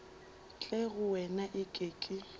tle go wena eke ke